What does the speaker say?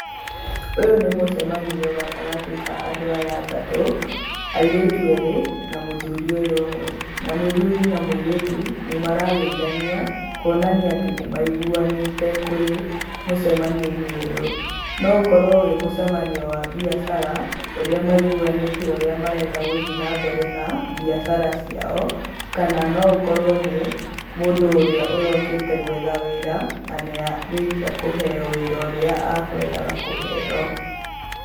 Ũyũ nĩ mũcemanio gatagatĩ ka andũ aya atatũ, airĩtu erĩ, na mũthuri ũyũ ũmwe. Na mũthuri na mũirĩtu nĩmarageithania, kuonania atĩ nĩmaiguanĩte kũrĩ mũcemanioinĩ ũyũ. No ũkorwo wĩ mũcemanio wa mbiacara ũrĩa maiguanĩte ũrĩa marenda gũthiĩ na mbere na mbiacara ciao, kana no akorwo nĩ, mũndũ ũrĩa ũrokĩte gwetha wĩra nanĩarĩkiĩa kũheo wĩra ũrĩa akwendaga kũheo.